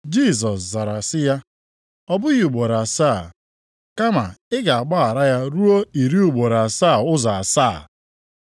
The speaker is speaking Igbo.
Jisọs zara sị ya, “Ọ bụghị ugboro asaa. Kama ị ga-agbaghara ya ruo iri ugboro asaa ụzọ asaa. + 18:22 Ọnụọgụgụ nke a bụ narị anọ na iri itoolu.